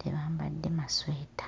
tebambadde masweta.